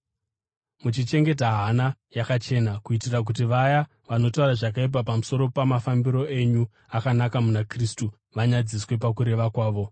muchichengeta hana yakachena, kuitira kuti vaya vanotaura zvakaipa pamusoro pamafambiro enyu akanaka muna Kristu vanyadziswe pakureva kwavo.